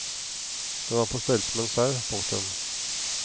Den var på størrelse med en sau. punktum